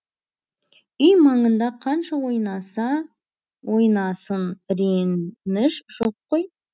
үй маңында қанша ойнаса ойнасын реніш жоқ қой